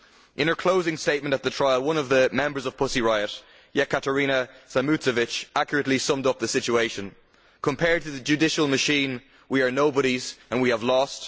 In her closing statement at the trial one of the members of Pussy Riot, Yekaterina Samutsevich, accurately summed up the situation Compared to the judicial machine we are nobodies and we have lost.